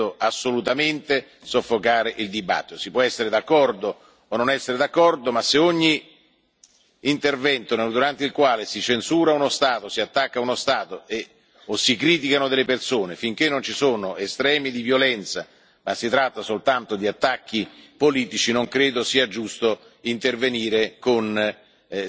Non intendo assolutamente soffocare il dibattito. Si può essere d'accordo o non essere d'accordo, ma se per ogni intervento durante il quale si censura uno Stato, si attacca uno Stato o si criticano delle persone finché non ci sono estremi di violenza, ma si tratta soltanto di attacchi politici, non credo sia giusto intervenire con